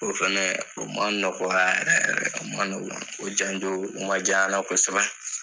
O fɛnɛ o man nɔgɔya yɛrɛ yɛrɛ o man nɔgɔya o janjo man j'an na kosɛbɛ.